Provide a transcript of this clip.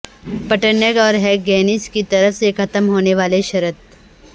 پٹیرنگ اور ہگگینس کی طرف سے ختم ہونے والی شرط